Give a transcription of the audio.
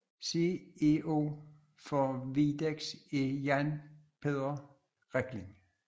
CEO for Widex er Jan Peter Rekling